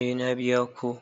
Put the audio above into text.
Eh na biya ko.